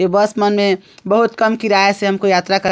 इ बस मन में बहुत कम किराय से हमको यात्रा क --